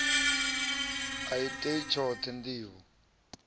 a i tei tshoṱhe ndivho